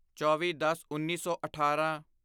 ਚੌਵੀਦਸਉੱਨੀ ਸੌ ਅਠਾਰਾਂ